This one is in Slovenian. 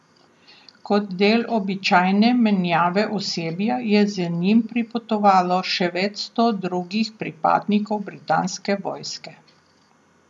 Kot del običajne menjave osebja je z njim pripotovalo še več sto drugih pripadnikov britanske vojske.